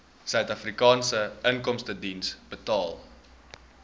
suidafrikaanse inkomstediens betaal